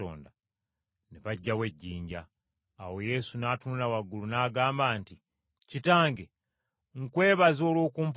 Ne baggyawo ejjinja. Awo Yesu n’atunula waggulu n’agamba nti, “Kitange nkwebaza olw’okumpulira.